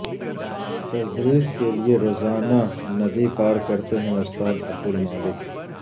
تدریس کے لیے روزانہ ندی پار کرتے ہیں استاد عبد المالک